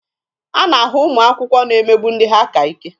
A na-ahụ ụmụ akwụkwọ na-emegbu ndị ha ka ike.